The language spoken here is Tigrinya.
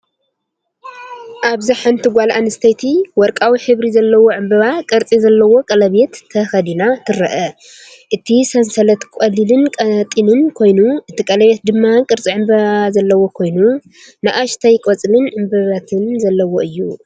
ኣብዚ ሓንቲ ጓል ኣንስተይቲ ወርቃዊ ሕብሪ ዘለዎ ዕምባባ ቅርጺ ዘለዎ ቀለቤት ተኸዲና ትርአ። እቲ ሰንሰለት ቀሊልን ቀጢንን ኮይኑ፡ እቲ ቀለቤት ድማ ቅርጺ ዕምባባ ዘለዎ ኮይኑ፡ ንኣሽቱ ቆጽልን ዕምባባታትን ዘለዎ እዩ።